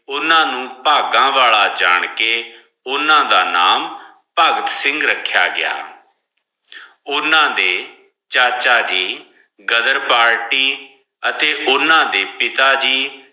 ਓਨਾ ਨੂ ਭਾਗਾਂ ਵਾਲਾ ਜਾਣ ਕੇ ਉਹਨਾਂ ਦਾ ਨਾਮ ਭਗਤ ਸਿੰਗ ਰੱਖਿਆ ਗਿਆ ਓਨਾ ਦੇ ਚਾਚਾ ਜੀ ਗ਼ਦਰ ਪਾਰਟੀ ਅਤੇ ਓਨਾ ਦੇ ਪਿੱਤਾ ਜੀ